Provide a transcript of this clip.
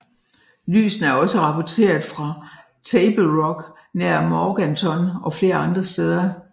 Lysene er også rapporteret fra Table Rock nær Morganton og flere andre steder